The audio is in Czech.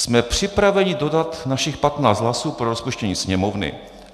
"Jsme připraveni dodat našich 15 hlasů pro rozpuštění Sněmovny.